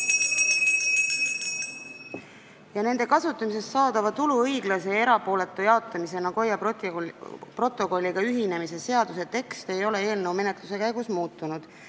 ... ja nende kasutamisest saadava tulu õiglase ja erapooletu jaotamise Nagoya protokolliga ühinemise seaduse eelnõu tekst ei ole eelnõu menetluse käigus muutunud.